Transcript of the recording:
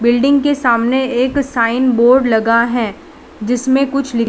building के सामने एक साइन बोर्ड लगा है जिसमें कुछ--